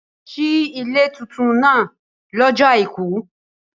Si ile titun naa lọ́jọ́ Àìkú.